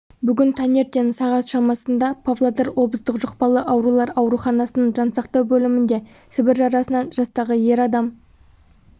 бүгін таңертең сағат шамасында павлодар облыстық жұқпалы аурулар ауруханасының жансақтау бөлімінде сібір жарасынан жастағы ер адам